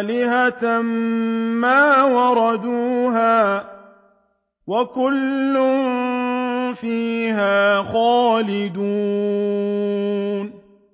آلِهَةً مَّا وَرَدُوهَا ۖ وَكُلٌّ فِيهَا خَالِدُونَ